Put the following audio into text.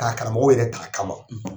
K' a karamɔgɔw yɛrɛ t'a kama.